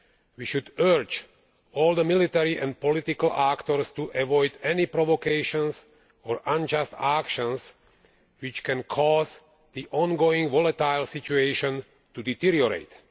We should urge all the military and political actors to avoid any provocations or unjust actions which can cause the ongoing volatile situation to deteriorate.